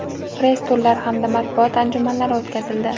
press turlar hamda matbuot anjumanlari o‘tkazildi.